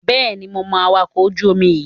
Bẹ́ẹ̀ni, mo mọ awakọ̀ ojú-omi yíì